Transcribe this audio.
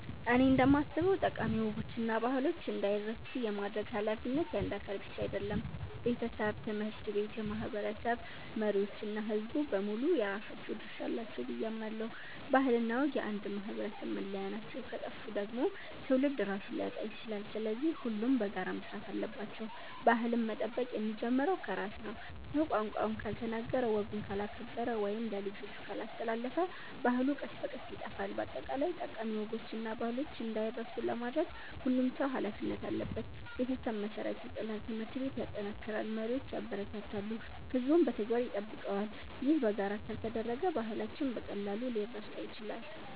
እኔ እንደማስበው ጠቃሚ ወጎችና ባህሎች እንዳይረሱ የማድረግ ኃላፊነት የአንድ አካል ብቻ አይደለም። ቤተሰብ፣ ትምህርት ቤት፣ የማህበረሰብ መሪዎች እና ሕዝቡ በሙሉ የራሳቸው ድርሻ አላቸው ብዬ አምናለሁ። ባህልና ወግ የአንድ ማህበረሰብ መለያ ናቸው፤ ከጠፉ ደግሞ ትውልድ ራሱን ሊያጣ ይችላል። ስለዚህ ሁሉም በጋራ መስራት አለባቸው። ባህልን መጠበቅ የሚጀምረው ከራስ ነው። ሰው ቋንቋውን ካልተናገረ፣ ወጉን ካላከበረ ወይም ለልጆቹ ካላስተላለፈ ባህሉ ቀስ በቀስ ይጠፋል። በአጠቃላይ ጠቃሚ ወጎችና ባህሎች እንዳይረሱ ለማድረግ ሁሉም ሰው ኃላፊነት አለበት። ቤተሰብ መሠረት ይጥላል፣ ትምህርት ቤት ያጠናክራል፣ መሪዎች ያበረታታሉ፣ ሕዝቡም በተግባር ይጠብቀዋል። ይህ በጋራ ካልተደረገ ባህላችን በቀላሉ ሊረሳ ይችላል።